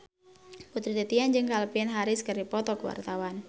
Putri Titian jeung Calvin Harris keur dipoto ku wartawan